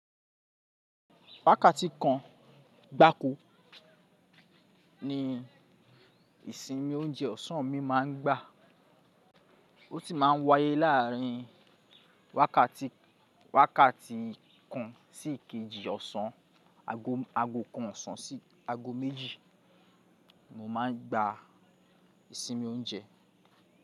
Wákàtí kan gbákó ni ìsinmi oúnjẹ ọ̀sán mi máa ń gbà. Ó sì máa ń wáyé láàárín wákàtí, wákàtí kan sí ìkejì ọ̀sán, aago kan ọ̀sán sí aago méjì mo máa ń gba ìsinmi oúnjẹ.